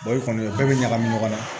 i kɔni o bɛɛ bɛ ɲagami ɲɔgɔn na